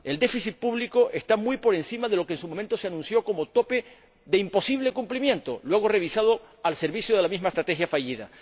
El déficit público está muy por encima de lo que en su momento se anunció como tope de imposible cumplimiento, luego revisado al servicio de la misma estrategia fallida.